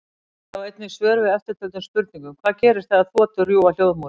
Sjá einnig svör við eftirtöldum spurningum: Hvað gerist þegar þotur rjúfa hljóðmúrinn?